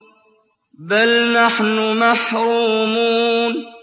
بَلْ نَحْنُ مَحْرُومُونَ